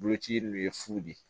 Boloci in ye fu de ye